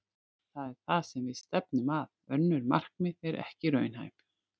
Það er það sem við stefnum að. Önnur markmið eru ekki raunhæf.